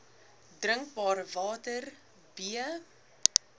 drinkbare water b